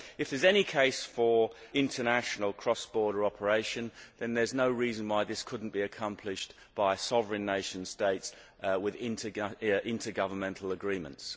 If there is any case for international cross border operation, then there is no reason why this could not be accomplished by sovereign nation states with intergovernmental agreements.